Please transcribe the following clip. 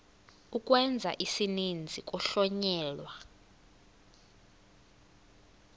ukwenza isininzi kuhlonyelwa